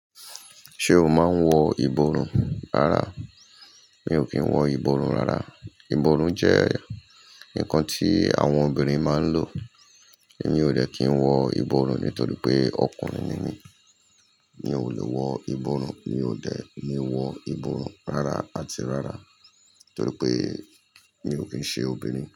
Ṣé o máa ń wọ ìborùn rárá? Mi ò kí ń wọ ìborùn rárá. Ìborùn jẹ́ ǹkan tí àwọn obìnrin máa ń lò. Mi ò de kí ń wọ ìborùn nítorí pé ọkùnrin ni mí. Mi ò lè wọ ìborùn, mi ò dẹ̀ ní wọ ìborùn rárá àti rárá torí pé mi ò kí ń ṣe obìnrin.